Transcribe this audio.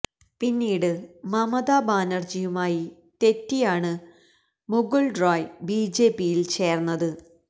പിന്നീട് മമത ബാനര്ജിയുമായി തെറ്റിയാണ് മുകുള് റോയി ബിജെപിയില് ചേര്ന്നത്